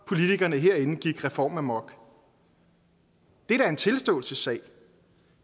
politikerne herinde gik reformamok det er da en tilståelsessag